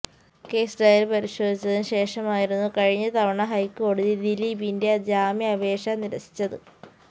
case diary പരിശോധിച്ചതിന് ശേഷം ആയിരുന്നു കഴിഞ്ഞ തവണ ഹൈക്കോടതി ദിലീപിന്റെ ജാമ്യാപേക്ഷ നിരസിച്ചത്